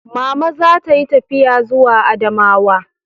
Mama za ta yi tafiya zuwa Adamawa